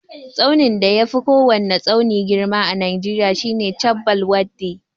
Tsaunin da yafi kowwani tsauni girma a najeriya shine chabbal waddi.